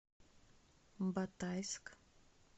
батайск